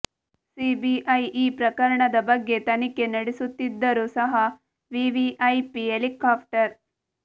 CBI ಈ ಪ್ರಕರಣದ ಬಗ್ಗೆ ತನಿಖೆ ನಡೆಸುತ್ತಿದ್ದರೂ ಸಹ ವಿವಿಐಪಿ ಹೆಲಿಕಾಫ್ಟರ್